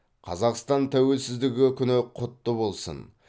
қазақстан тәуелсіздігі күні құтты болсын